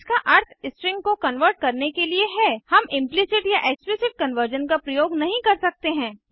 इसका अर्थ स्ट्रिंग को कन्वर्ट करने के लिए है हम इम्प्लिसिट या एक्सप्लिसिट कन्वर्जन का प्रयोग नहीं कर सकते हैं